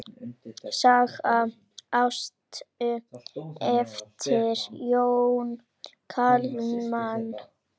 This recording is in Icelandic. Saga Ástu eftir Jón Kalman.